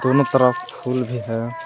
दोनों तरफ फूल भी है।